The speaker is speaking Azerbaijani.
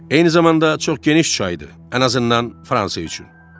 Eyni zamanda çox geniş çaydır, ən azından Fransa üçün.